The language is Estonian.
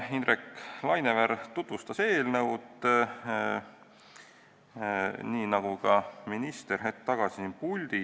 Indrek Laineveer tutvustas eelnõu, nii nagu seda tegi minister hetk tagasi siin puldis.